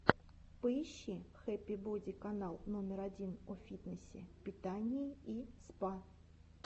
поищи хэппи боди канал номер один о фитнесе питании и спа